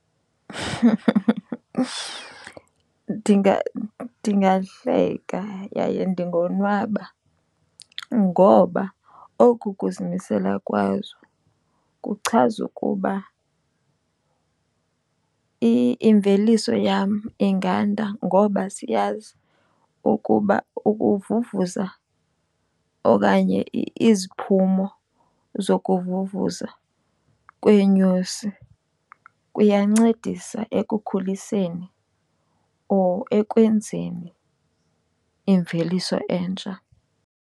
Ndingahleka yaye ndingonwaba. Ngoba oku kuzimisela kwazo kuchaza ukuba imveliso yam inganda ngoba ziyazi ukuba ukuvuvuza okanye iziphumo zokuvuvuza kweenyosi kuyancedisa ekukhuliseni or ekwenzeni imveliso entsha.